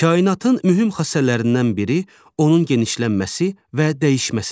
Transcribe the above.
Kainatın mühüm xassələrindən biri onun genişlənməsi və dəyişməsidir.